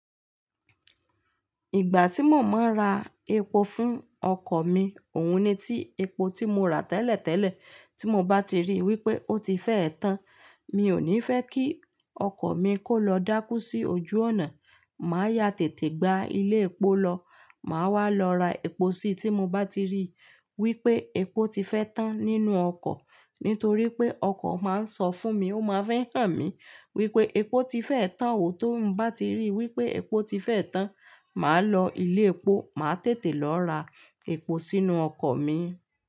Ìgbà tí mo máa ń ra epo fún ọkọ̀ mi, òun ni tí epo tí mo rà tẹ́lẹ̀tẹ́lẹ̀ tí mo bá ti rí wípé ó ti fẹ́ẹ tán, mi ò ní fẹ́ kí ọkọ̀ mi kó lọ dákú sí ojú ọ̀nà. Màá yá tètè gba ilé epo lọ, màá wá lọ ra epo sí tí mo bá ti rí wípé epo ti fẹ́ tán nínú ọkọ̀; nítorí pé ọkọ̀ máa ń sọ fún mi, ó máa ń fi hàn mí wípé epo ti fẹ́ tán o. Tó n bá ti rí wípé epo ti fẹ́ tán, màá lọ ilé epo, màá tètè lọ ra epo sínú ọkọ̀ mi.